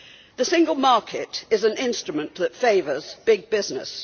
The single market is an instrument that favours big business.